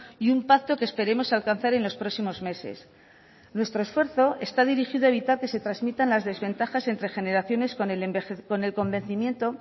y un pacto que esperemos alcanzar en los próximos meses nuestro esfuerzo está dirigido a evitar que se transmitan las desventajas entre generaciones con el convencimiento